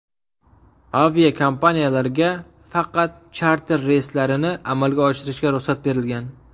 Aviakompaniyalarga faqat charter reyslarini amalga oshirishga ruxsat berilgan.